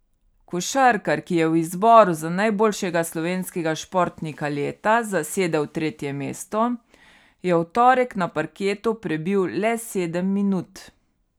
Košarkar, ki je v izboru za najboljšega slovenskega športnika leta zasedel tretje mesto, je v torek na parketu prebil le sedem minut.